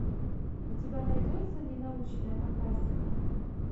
у тебя найдется не научная фантастика